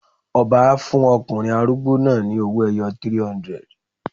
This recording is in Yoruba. Ọba á fún ọkùnrin arúgbó náà ni owó-ẹyọ 300.